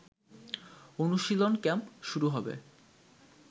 অনুশীলন ক্যাম্প শুরু হবে